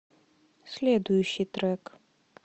следующий трек